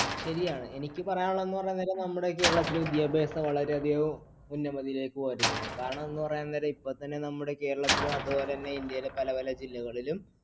ശരിയാണ്. എനിക്ക് പറയാനുള്ളതെന്നുപറഞ്ഞാൽ നമ്മുടെ കേരളത്തിലെ വിദ്യാഭ്യാസം വളരെയധികം ഉന്നമതിയിലേക്കു . കാരണം എന്നുപറയുന്നത് ഇപ്പൊത്തന്നെ നമ്മുടെ കേരളത്തിലും അതുപോലെതന്നെ ഇന്ത്യയിലെ പല പല ജില്ലകളിലും